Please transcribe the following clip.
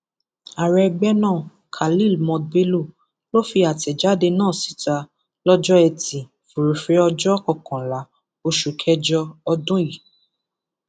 ààrẹ ẹgbẹ náà khalil mohd bello ló fi àtẹjáde náà síta lọjọ etí furuufee ọjọ kọkànlá oṣù kẹjọ ọdún yìí